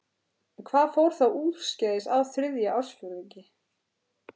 En hvað fór þá úrskeiðis á þriðja ársfjórðungi?